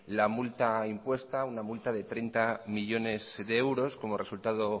la multa impuesta una multa de treinta millónes de euros como resultado